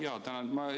Jaa, tänan!